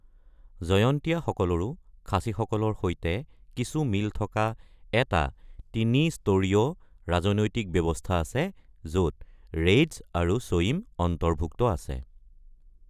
জয়ন্তীয়াসকলৰো খাচীসকলৰ সৈতে কিছু মিল থকা এটা তিনি-স্তৰীয় ৰাজনৈতিক ব্যৱস্থা আছে, য’ত ৰেইডচ আৰু ছয়িম অন্তৰ্ভুক্ত আছে।